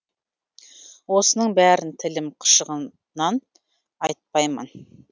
осының бәрін тілім қышығаннан айтпаймын